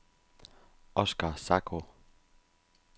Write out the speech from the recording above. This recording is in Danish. Oskar Zacho